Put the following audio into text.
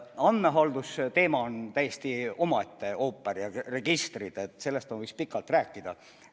Andmehalduse teema ja registrid on täiesti omaette ooper, sellest ma võiks pikalt rääkida.